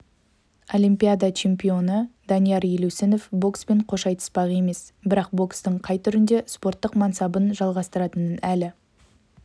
олимпиада чемпионы данияр елеусінов бокспен қош айтыспақ емес бірақ бокстың қай түрінде спорттық мансабын жалғастыратынын әлі